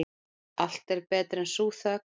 Allt betra en sú þögn.